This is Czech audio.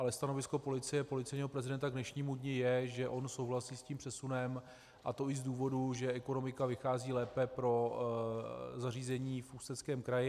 Ale stanovisko policie, policejního prezidenta k dnešnímu dni je, že on souhlasí s tím přesunem, a to i z důvodů, že ekonomika vychází lépe pro zařízení v Ústeckém kraji.